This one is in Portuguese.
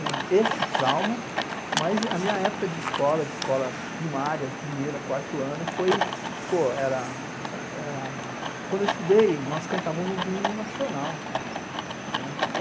um eixo, trauma, mas a minha época de escola, de escola primária, primeiro, quarto ano, foi... po, era Quando eu estudei, nós cantávamos no Nacional.